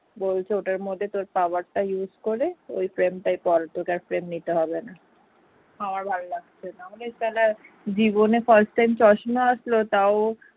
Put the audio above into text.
বলছে ওইটার মধ্যে তোর power টা use করে ওই frame টাই কর তোকে আর frame নিতে হবে না আমার ভালো লাগছে না জীবনে first time চশমা আসলো তাও